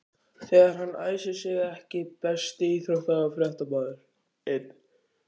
þegar hann æsir sig EKKI besti íþróttafréttamaðurinn?